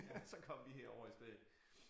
Så kom de herover i stedet